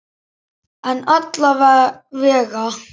En alla vega.